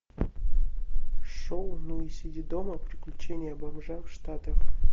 шоу ну и сиди дома приключения бомжа в штатах